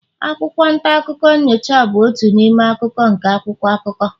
akwụkwọ nta akụkọ nyocha bụ otu n'ime akụkụ nke akwụkwọ akụkọ